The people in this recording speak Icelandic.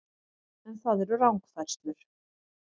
En það eru rangfærslur